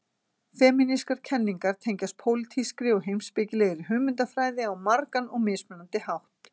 Femínískar kenningar tengjast pólitískri og heimspekilegri hugmyndafræði á margan og mismunandi hátt.